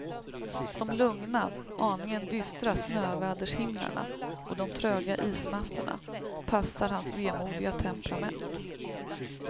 De lugna, aningen dystra snövädershimlarna och de tröga ismassorna passar hans vemodiga temperament.